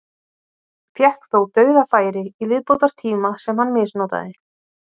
Fékk þó dauðafæri í viðbótartíma sem hann misnotaði.